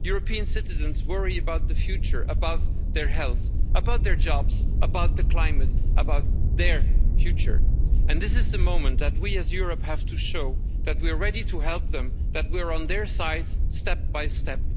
European citizens worry about the future, about their health, about their jobs, about the climate, and about their future. This is the moment when we as Europe have to show that we are ready to help them, and that we're on their side, step by step.